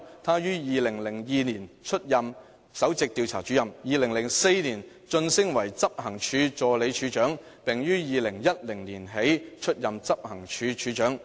她於2002年出任首席調查主任 ，2004 年晉升為執行處助理處長，並於2010年起出任執行處處長。